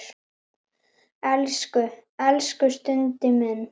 Elsku, elsku Skundi minn!